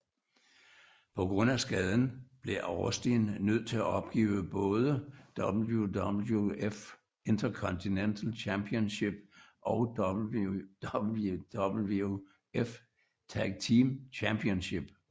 På grund af skaden blev Austin nødt til at opgive både WWF Intercontinental Championship og WWF Tag Team Championship